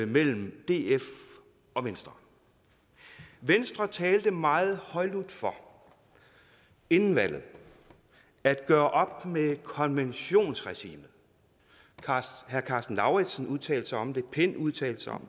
mellem df og venstre venstre talte meget højlydt for inden valget at gøre op med konventionsregimet herre karsten lauritzen udtalte sig om det pind udtalte sig om